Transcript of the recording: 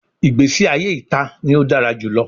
Igbesi aye ita ni o dara julọ